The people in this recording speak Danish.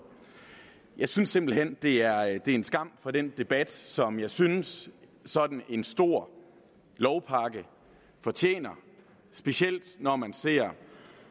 jeg synes simpelt hen det er en skam for den debat som jeg synes sådan en stor lovpakke fortjener og specielt set